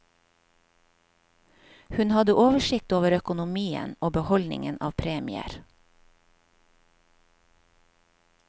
Hun hadde oversikt over økonomien og beholdningen av premier.